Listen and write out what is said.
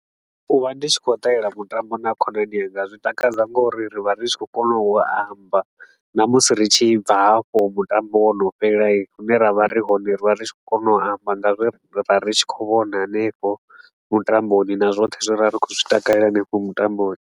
U vha ndi tshi khou ṱalela mutambo na khonani idzi, zwi takadza nga uri ri vha ri tshi khou kona u amba na musi ri tshi bva hafho mutambo wo no fhelai, hune ra vha ri hone ri vha ri tshi khou kona u amba nga zwe ra ri tshi khou vhona hanefho mutamboni na zwoṱhe zwe ra ri khou zwi takalela hanefho mutamboni.